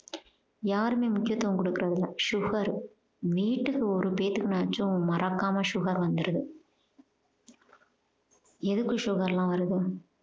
யாருமே முக்கியத்துவம் குடுக்கிறது இல்லை sugar வீட்டுக்கு ஒரு பேத்துக்கு நாச்சும் மறக்காம sugar வந்துருது எதுக்கு sugar லாம் வருது